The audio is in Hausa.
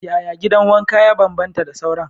Yaya gidan wanka ya bambanta da sauran?